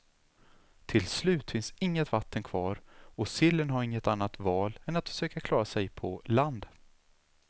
Till slut finns inget vatten kvar och sillen har inget annat val än att försöka klara sig på land.